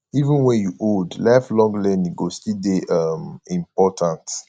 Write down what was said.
even wen you old lifelong learning go still dey um important